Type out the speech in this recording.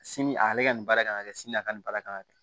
Sini ale ka nin baara kan ka kɛ sini a ka nin baara kan ka kɛ